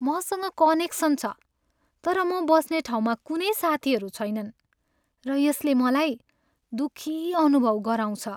मसँग कनेक्सन छ तर म बस्ने ठाउँमा कुनै साथीहरू छैनन् र यसले मलाई दुःखी अनुभव गराउँछ।